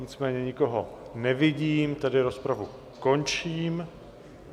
Nicméně nikoho nevidím, tedy rozpravu končím.